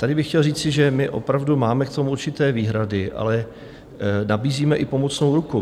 Tady bych chtěl říci, že my opravdu máme k tomu určité výhrady, ale nabízíme i pomocnou ruku.